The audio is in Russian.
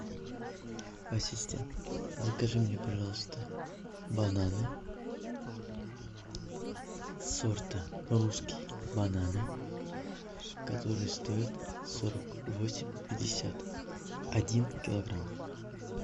ассистент закажи мне пожалуйста бананы сорта русские бананы которые стоят сорок восемь пятьдесят один килограмм